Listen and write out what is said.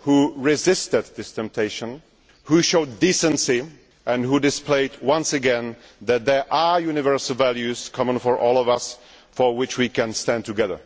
who resisted this temptation, who showed decency and who displayed once again that there are universal values common to all of us for which we can stand together.